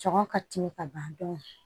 Cɔgɔn ka timi ka ban